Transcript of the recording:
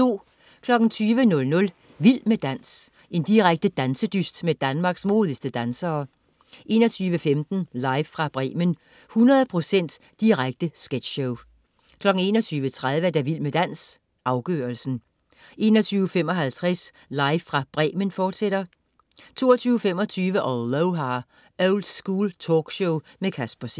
20.00 Vild med dans. Direkte dansedyst med Danmarks modigste dansere 21.15 Live fra Bremen. 100 procent direkte sketchshow 21.30 Vild med dans, afgørelsen 21.55 Live fra Bremen, fortsat 22.25 Aloha! Oldschool talkshow med Casper C